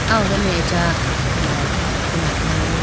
ah ho done acha light khula khayibo.